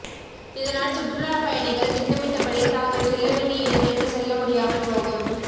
இதனால் சுற்றுலா பயணிகள் திட்டமிட்டபடி தாங்கள் செல்ல வேண்டிய இடங்களுக்கு செல்ல முடியாமல் போகும்